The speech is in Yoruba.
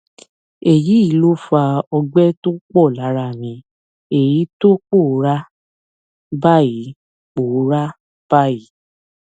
èyí ló fa ọgbẹ tó pọ lára mi èyí tó ti pòórá báyìí pòórá báyìí